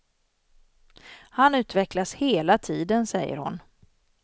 Han utvecklas hela tiden, säger hon.